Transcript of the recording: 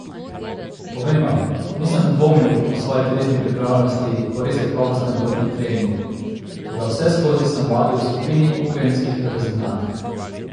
Povem vam, nisem dvomil o svoji telesni pripravljenosti po res kakovostnem poletnem treningu, toda vseskozi sem vadil v skupini ukrajinskih reprezentantk.